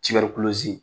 Tibɛri